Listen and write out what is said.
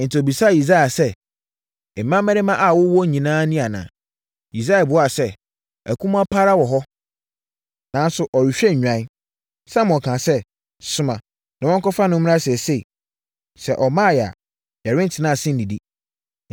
Enti, ɔbisaa Yisai sɛ, “Mmammarima a wowɔ nyinaa ni anaa?” Yisai buaa sɛ, “Akumaa pa ara wɔ hɔ, nanso ɔrehwɛ nnwan.” Samuel kaa sɛ, “Soma na wɔnkɔfa no mmra seesei. Sɛ ɔmmaeɛ a, yɛrentena ase nnidi.”